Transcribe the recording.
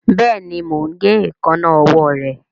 Béèni mọ ń gé Èékánná ọwọ́ re.